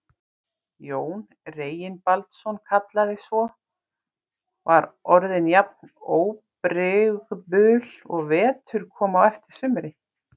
Jón Reginbaldsson kallaði svo, var orðin jafn óbrigðul og vetur kom á eftir sumri.